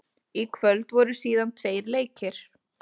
Í kvöld voru síðan tveir leikir.